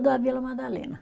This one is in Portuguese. a Vila Madalena.